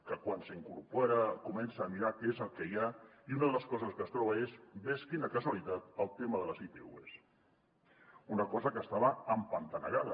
que quan s’incorpora comença a mirar què és el que hi ha i una de les coses que es troba és ves quina casualitat el tema de les itvs una cosa que estava empantanegada